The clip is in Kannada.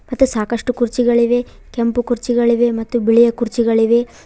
ಮತ್ತೆ ಸಾಕಷ್ಟು ಕುರ್ಚಿಗಳಿವೆ ಕೆಂಪು ಕುರ್ಚಿಗಳಿವೆ ಮತ್ತು ಬಿಳಿಯ ಕುರ್ಚಿಗಳಿವೆ.